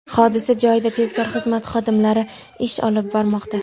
Hodisa joyida tezkor xizmat xodimlari ish olib bormoqda.